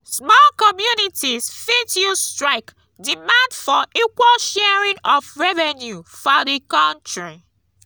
small communities fit use strike demand for equal sharing of revenue for di counrty